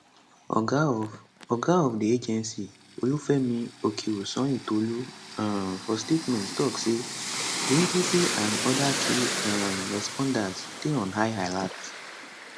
oga of oga of di agency olufemi okeosanyintolu um for statement tok say di agency and oda key um responders dey on high alert